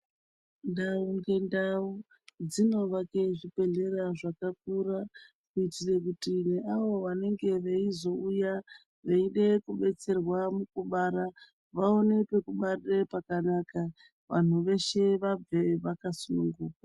Ndau ngendau dzinovake zvibhedhlera zvakakura kuite kuti veavo vanenge veizouya veide kudetserwa mukubara vaone pekubararira pakanaka vantu veshe vabve vakasununguka.